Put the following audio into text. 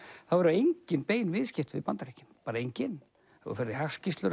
þá eru engin bein viðskipti við Bandaríkin bara engin ef þú ferð í hagskýrslur